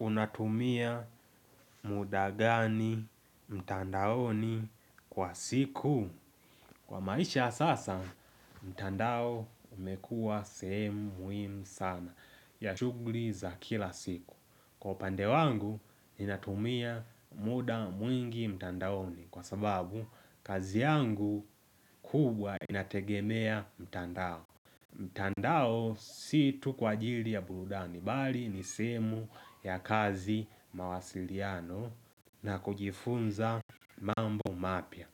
Unatumia muda gani mtandaoni kwa siku Kwa maisha ya sasa, mtandao umekuwa sehemu muhimu sana ya shughuli za kila siku kwa upande wangu, ninatumia muda mwingi mtandaoni Kwa sababu, kazi yangu kubwa inategemea mtandao mtandao si tu kwa ajili ya burudani bali ni sehemu ya kazi mawasiliano na kujifunza mambo mapya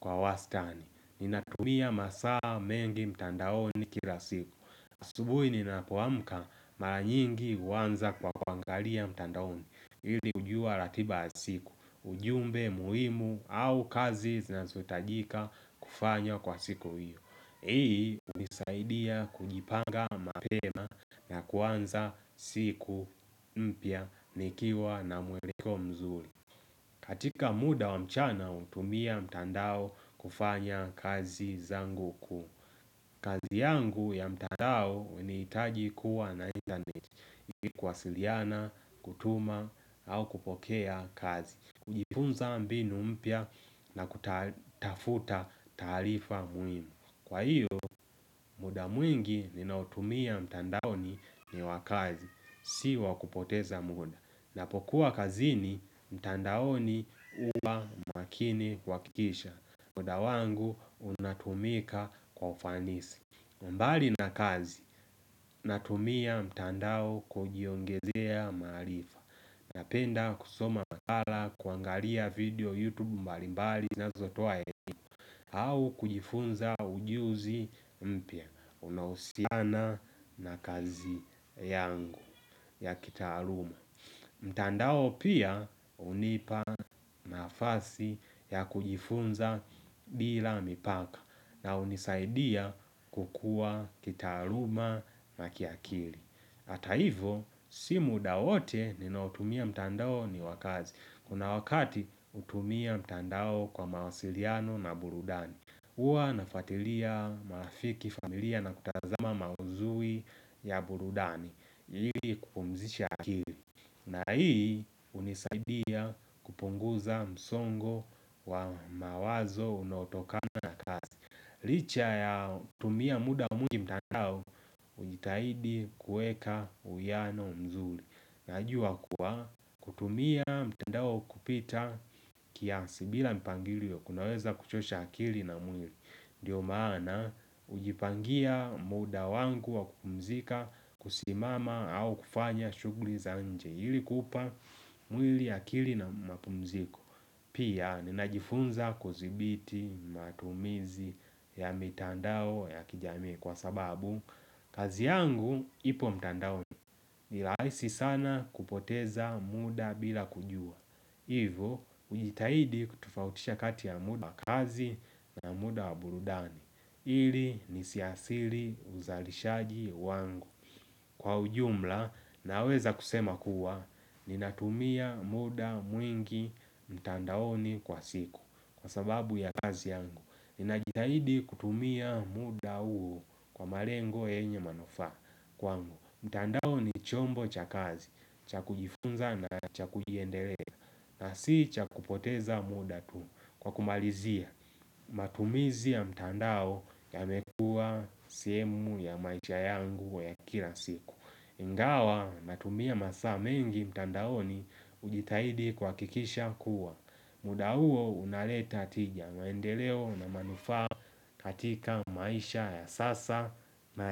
kwa wastani. Ninatumia masaa mengi mtandaoni kila siku. Asubuhi ninapoamka mara nyingi uanza kwa kuangalia mtandaoni ili kujua ratiba ya siku. Ujumbe muhimu au kazi zinazohitajika kufanywa kwa siku hiyo. Hii hunisaidia kujipanga mapema na kuanza siku mpya nikiwa na mweleko mzuri katika muda wa mchana hutumia mtandao kufanya kazi zangu ku kazi yangu ya mtandao hunihitaji kuwa na internet kuwasiliana, kutuma au kupokea kazi kujifunza mbinu mpya na kutafuta taarifa muhimu kwa hio muda mwingi ninaotumia mtandaoni ni wa kazi, si wa kupoteza muda. Napokuwa kazini, mtandaoni huwa makini kuhakikisha. Muda wangu unatumika kwa ufanisi. Mbali na kazi, natumia mtandao kujiongezea maarifa. Napenda kusoma makala, kuangalia video YouTube mbalimbali zinazotoa elimu. Au kujifunza ujuzi mpya. Unaohusiana na kazi yangu ya kitaaluma mtandao pia hunipa nafasi ya kujifunza bila mipaka na hunisaidia kukua kitaaluma na kiakili hata hivo simu muda wote ninaotumia mtandao ni wa kazi Kuna wakati hutumia mtandao kwa mawasiliano na burudani huwa nafuatilia marafiki familia na kutazama mauzui ya burudani ili kupumzisha akili na hii hunisaidia kupunguza msongo wa mawazo unaotokana na kazi Licha ya kutumia muda mwingi mtandao hujitahidi kueka uiano nzuri Najua kuwa kutumia mtandao kupita kiasi bila mpangilio kunaweza kuchosha akili na mwili Ndiyo maana hujipangia muda wangu wa kupumzika kusimama au kufanya shughuli za nje ili kupa mwili akili na mapumziko Pia ninajifunza kudhibiti matumizi ya mitandao ya kijamii kwa sababu kazi yangu ipo mtandaoni ni rahisi sana kupoteza muda bila kujua Hivo, ujitahidi kutofautisha kati ya muda wa kazi na muda wa burudani ili nisiadhiri uzalishaji wangu Kwa ujumla, naweza kusema kuwa Ninatumia muda mwingi mtandaoni kwa siku Kwa sababu ya kazi yangu Ninajitahidi kutumia muda huo kwa malengo yenye manufaa kwangu mtandao ni chombo cha kazi cha kujifunza na cha kujiendelea na si cha kupoteza muda tu kwa kumalizia matumizi ya mtandao yamekuwa sehemu ya maisha yangu ya kila siku ingawa natumia masaa mengi mtandaoni hujitahidi kuhakikisha kuwa muda huo unaleta tija maendeleo na manufaa katika maisha ya sasa na ya.